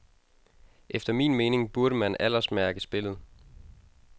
Efter min mening burde man aldersmærke spillet.